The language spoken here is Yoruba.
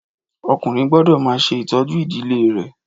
Ọkùnrin gbọ́dọ̀ máa ṣe ìtọ́jú ìdílé rè